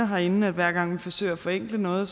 herinde hver gang vi forsøger at forenkle noget